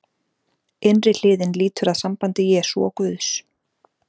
innri hliðin lýtur að sambandi jesú og guðs